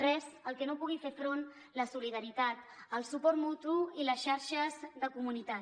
res al que no pugui fer front la solidaritat el suport mutu i les xarxes de comunitat